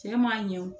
Cɛ ma ɲɛ o